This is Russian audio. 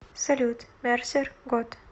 салют мерсер год